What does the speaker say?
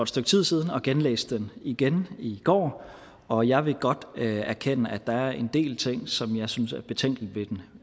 stykke tid siden og genlæst den igen i går og jeg vil godt erkende at der er en del ting som jeg synes er betænkelige